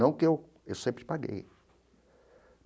Não que eu... Eu sempre paguei.